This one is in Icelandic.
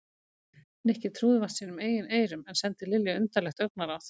Nikki trúði vart sínum eigin eyrum en sendi Lilju undarlegt augnaráð.